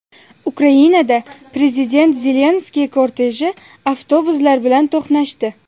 Ukrainada prezident Zelenskiyning korteji avtobuslar bilan to‘qnashdi .